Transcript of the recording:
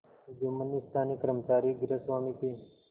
जुम्मन ने स्थानीय कर्मचारीगृहस्वामीके